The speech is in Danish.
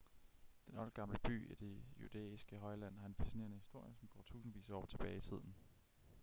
den oldgamle by i det judæiske højland har en fascinerende historie som går tusindvis af år tilbage i tiden